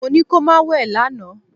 Mo ní kó má wẹ̀ lánàá!